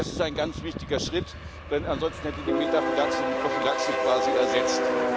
Das ist ein ganz wichtiger Schritt, denn ansonsten hätte die Metaphylaxe die Prophylaxe quasi ersetzt.